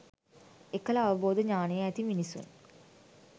එකල අවබෝධ ඥානය ඇති මිනිසුන්